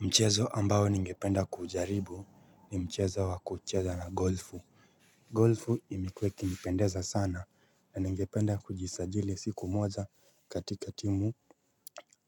Mchezo ambao ningependa kuujaribu ni mchezo wa kuucheza na golfu. Golfu imekuwa ikinipendeza sana na ningependa kujisajili siku moja katika timu